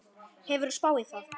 Hefur þú spáð í það?